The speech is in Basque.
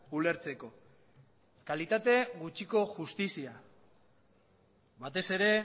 ulertzeko kalitate gutxiko justizia batez ere